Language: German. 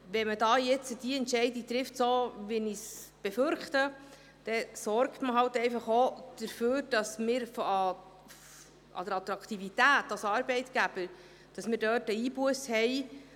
Wenn man jetzt die Entscheidung trifft, die ich befürchte, sorgt man auch dafür, dass wir bei der Attraktivität als Arbeitgeber eine Einbusse haben.